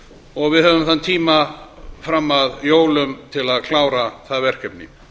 og við höfum tíma fram að jólum til að klára það verkefni